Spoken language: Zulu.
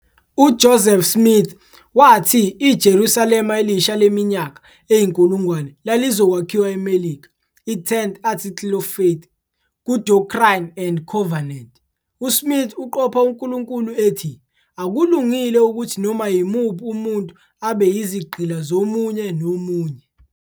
UJoseph Smith wathi iJerusalema Elisha leminyaka eyinkulungwane lalizokwakhiwa eMelika, i-10th Article of Faith. Ku- Doctrine and Covenants, uSmith uqopha uNkulunkulu ethi "akulungile ukuthi noma yimuphi umuntu abe yizigqila zomunye nomunye.